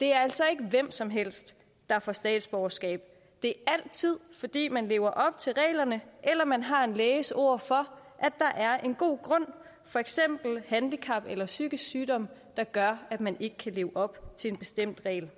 det er altså ikke hvem som helst der får statsborgerskab det er altid fordi man lever op til reglerne eller man har en læges ord for at der er en god grund for eksempel handicap eller psykisk sygdom der gør at man ikke kan leve op til en bestemt regel